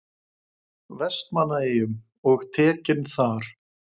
Vestmannaeyjum og tekinn þar.